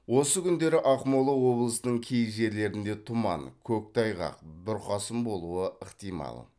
осы күндері ақмола облысының кей жерлерінде тұман көктайғақ бұрқасын болуы ықтимал